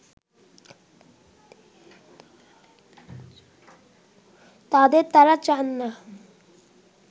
তাদের তারা চাননা